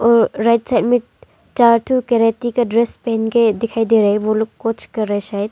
और right side में चार ठो कराटे का ड्रेस पहन के दिखाई दे रहा है वो लोग कुछ कर रहा है शायद।